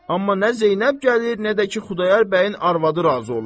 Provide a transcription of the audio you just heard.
Amma nə Zeynəb gəlir, nə də ki Xudayar bəyin arvadı razı olur.